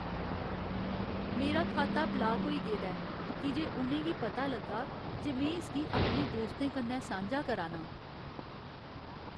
मेरा खाता ब्लाक होई गेदा ऐ की जे उ'नें गी पता लग्गा जे में इसगी अपने दोस्तें कन्नै सांझा करा ना आं।